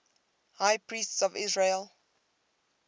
high priests of israel